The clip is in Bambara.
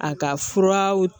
A ka furaw